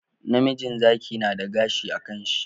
Namijin Zaki nada gashi a kan shi